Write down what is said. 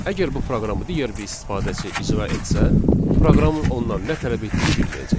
Əgər bu proqramı digər bir istifadəçi icra etsə, proqramın ondan nə tələb etdiyini bilməyəcək.